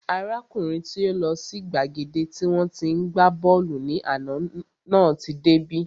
Arákùnrin tí ó lọ sí gbàgede tí wọ́n tí ń gbá bọ́ọ̀lù ní àná náà tí dé bí